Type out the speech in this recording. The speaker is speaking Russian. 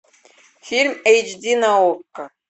фильм эйч ди на окко